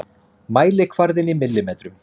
Mælikvarðinn í millimetrum.